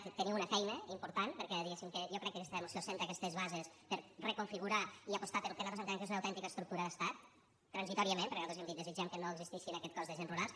ara teniu una feina important perquè diguem que jo crec que aquesta moció assenta aquestes bases per reconfigurar i apostar pel que nosaltres entenem que és una autèntica estructura d’estat transitòriament perquè nosaltres hem dit desitgem que no existeixi aquest cos d’agents rurals